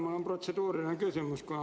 Mul on protseduuriline küsimus.